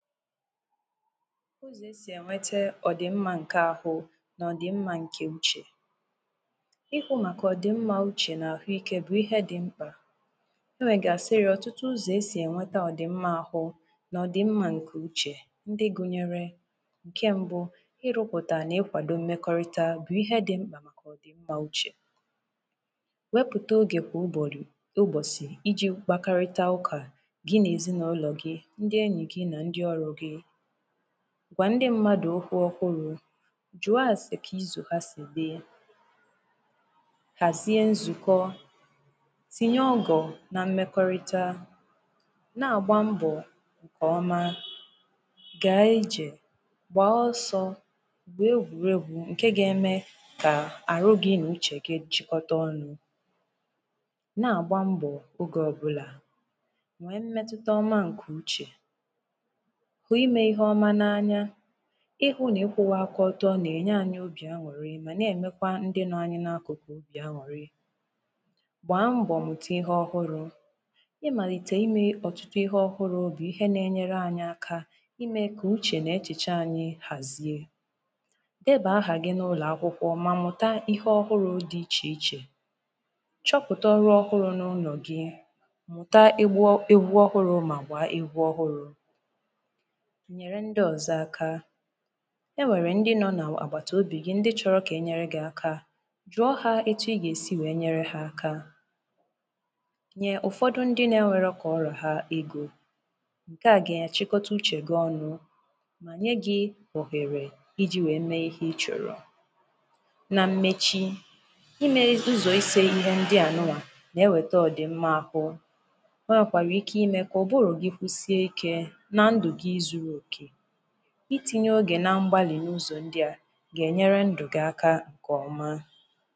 Ụzọ e si enweta ọdịmma nke ahụ na ọdịmma nke uche Ikwu maka ọdịmma uche na ahụike bụ ihe dị mkpa. E nwegasịrị ọtụtụ ụzọ dị iche iche esi enweta ọdịmma nke ahụ na ọdịmma nke uche ndị gụnyere nke mbụ Ịrụpụta na ịkwado mmekọrịta bụ ihe dị mkpa maka ọdịmma uche Wepụta oge kwa ụbọchị iji kpakọrịta ụka gị na ezinụlọ ndị enyi gị na ndị ọrụ gị gwa ndị mmadụ okwu ọhụrụ jụọ ase ka izu ha si dị Hazie nzukọ tinye ọgọ na mmekọrịta na-agba mbọ nke ọma, gaa ije gbaa ọsọ gwuo egwuregwu nke ga-eme ka ahụ gị na uche gị chịkọta ọnụ na-agba mbọ oge ọbụla nwee mmetụta ọma nke uche hụ ime ihe ọma n'anya ịhụ na ịkwụwa aka ọtọ na-enye anyị obi aṅụrị ma na-emekwa ndị nọd anyị n'akụkụ obi aṅụrị gbaa mbọ mụta ihe ọhụrụ ịmalite ime ọtụtụ ihe ọhụrụ bụ ihe na-enyere anyị aka ime ka uche na echiche anyị hazie debee aha gị n'ụlọ akwụkwọ ma mụta ihe ọhụrụ dị iche iche chọpụta ọrụ ọhụrụ n'ụlọ gị mụta egwu ọhụrụ ma gbaa egwu ọhụrụ nyere ndị ọzọ aka e nwere ndị nọ n'agbataobi gị ndị chọrọ ka e nyere ha aka jụọ ha etu ị ga-esi nyere ha aka nye ụfọdụ ndị na-enwerọ ka ọ ra ha ego nke a ga-achịkọta uche gị ọnụ ma nye gị ohere iji wee mee ihe ị chọrọ na mmechi ime ụzọ ihe ise ndị a na-eweta ọdịmma ahụ o nwekwara ike ime ka ụbụrụ gị kwụsịe ike na ndụ gị zuru oke itinye oge na mgbalị n'ụzọ ndị a ga-enyere ndụ gị aka nke ọma